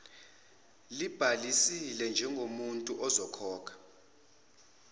libhalisile njengomuntu okhokha